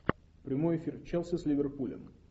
прямой эфир челси с ливерпулем